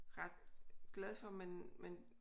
Ret glad for men